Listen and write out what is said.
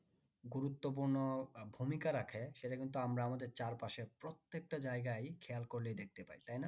গুরুত্বপূর্ণ ভূমিকা রাখে সেটা কিন্তু আমরা আমাদের চার পাশের প্রত্যেকটা জায়গাই খেয়াল করলেই দেখতে পাই তাই না?